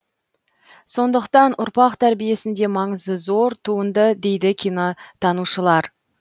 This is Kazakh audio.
сондықтан ұрпақ тәрбиесінде маңызы зор туынды дейді кинотанушылар